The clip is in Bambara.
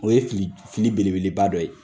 O ye fili, fili belebeleba dɔ ye.